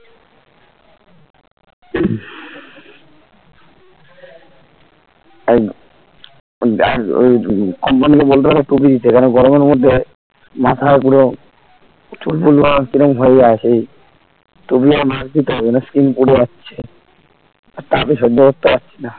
আহ আর ওই কঙ্কন কে বলতে পারে টুপি দিতে সেখানে গরমের মধ্যে মাথা পুরো চুল টুল কি রকম হয়ে যায় সেই টুপি ও mask নিতে হবে নাহলে skin পুড়ে যাচ্ছে আর তাপে সহ্য করতে পারছিনা